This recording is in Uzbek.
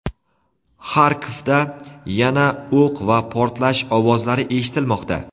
Xarkovda yana o‘q va portlash ovozlari eshitilmoqda.